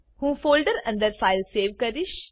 હું ફોલ્ડર અંદર file save કરીશ